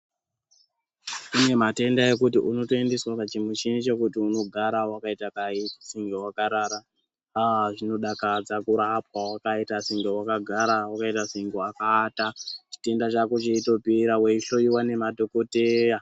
Kune matenda ekuti unoendeswa pachimuchini chekuti unogara wakaita dai senge wakarara, aa zvinodakadza kurapwa wakaita senge wakagara wakaita senge wakaata, chitenda chako cheitopera weihloyiwa nemadhokoteya.